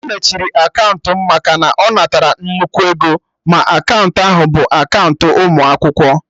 E mechiri akaụntụ mụ maka na ọ natara nnukwu ego, ma akaụntụ ahụ bụ akaụntụ ụmụ akwụkwọ